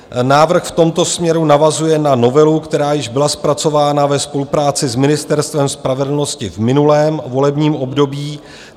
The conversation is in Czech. Návrh v tomto směru navazuje na novelu, která již byla zpracována ve spolupráci s Ministerstvem spravedlnosti v minulém volebním období.